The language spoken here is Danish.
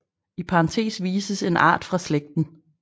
I parentes vises en art fra slægten